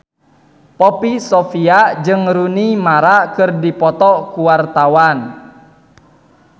Poppy Sovia jeung Rooney Mara keur dipoto ku wartawan